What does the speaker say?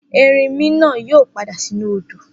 Erinmi náà yóò padà sínú odò.